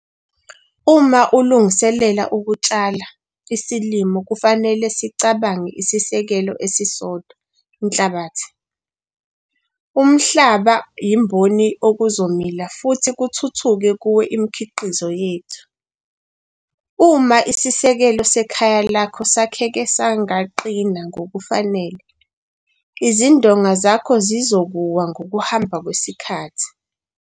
Uma ulungiselela ukutshala isilimo kufanele sicabange isisekelo esisodwa - inhlabathi. Umhlaba yimboni okuzomila futhi kuthuthuke kuwo mkhiqizo wethu. Uma isisekelo sekhaya lakho sakheke sangaqina ngokufanele izindonga zakho zizokuwa ngokuhamba kwesikhathi.